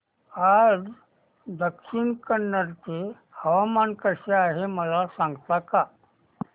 आज दक्षिण कन्नड चे हवामान कसे आहे मला सांगता का